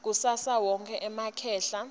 kusasa wonkhe emakhehla